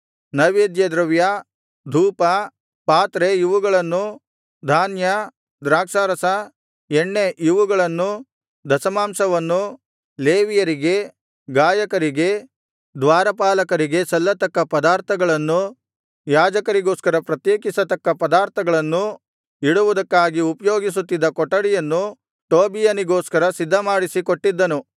ನೈವೇದ್ಯದ್ರವ್ಯ ಧೂಪ ಪಾತ್ರೆ ಇವುಗಳನ್ನೂ ಧಾನ್ಯ ದ್ರಾಕ್ಷಾರಸ ಎಣ್ಣೆ ಇವುಗಳನ್ನೂ ದಶಮಾಂಶವನ್ನೂ ಲೇವಿಯರಿಗೆ ಗಾಯಕರಿಗೆ ದ್ವಾರಪಾಲಕರಿಗೆ ಸಲ್ಲತಕ್ಕ ಪದಾರ್ಥಗಳನ್ನೂ ಯಾಜಕರಿಗೋಸ್ಕರ ಪ್ರತ್ಯೇಕಿಸತಕ್ಕ ಪದಾರ್ಥಗಳನ್ನೂ ಇಡುವುದಕ್ಕಾಗಿ ಉಪಯೋಗಿಸುತ್ತಿದ್ದ ಕೊಠಡಿಯನ್ನು ಟೋಬೀಯನಿಗೋಸ್ಕರ ಸಿದ್ಧಮಾಡಿಸಿ ಕೊಟ್ಟಿದ್ದನು